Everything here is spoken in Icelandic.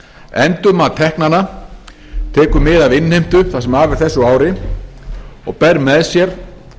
endurmat teknanna tekur við af innheimtu það sem af er þessu ári og ber með sér